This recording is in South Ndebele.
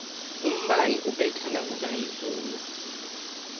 umbani ubetha nakuna izulu